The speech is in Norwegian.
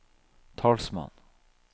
talsmann